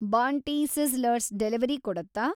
ಬಾಂಟಿ sizzlers delivery ಕೊಡುತ್ತಾ